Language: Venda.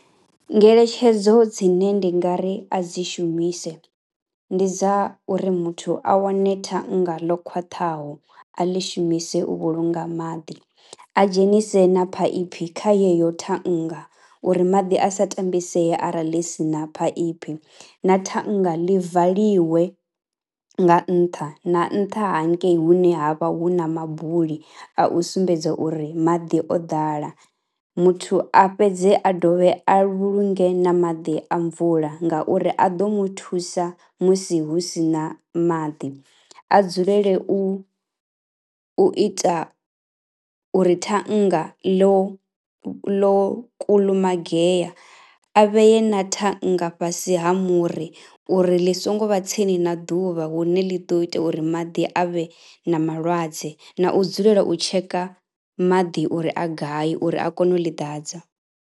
Ngeletshedzo dzine ndi nga ri a dzi shumise ndi dza uri muthu a wane thannga ḽo khwaṱhaho, a ḽi shumise u vhulunga maḓi, a dzhenise na phaiphi kha yeyo thanga uri maḓi a sa tambisei arali ḽi si na phaiphi. Na thannga ḽi valiwe nga ntha na nṱha hangei hune ha vha hu na mabuli, a u sumbedza uri maḓi o ḓala. Muthu a fhedze a dovhe a vhulunge na maḓi a mvula ngauri a ḓo mu thusa musi hu si na maḓi, a dzulele u ita uri thannga ḽo ḽo kulumagea a vhee na thannga fhasi ha muri uri ḽi songo vha tsini na ḓuvha hune ḽi ḓo ita uri maḓi a vhe na malwadze na u dzulela u tsheka maḓi uri a gai, uri a kone u ḽi ḓadza